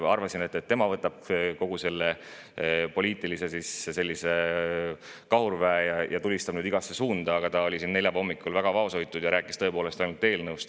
Arvasin, et tema võtab kogu selle poliitilise kahurväe ja tulistab igasse suunda, aga ta oli neljapäeva hommikul väga vaoshoitud ja rääkis tõepoolest ainult eelnõust.